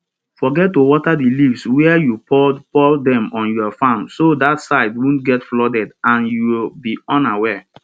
forget to water the leaves where you poured poured them on your farm so that side wont get flooded and youll be unaware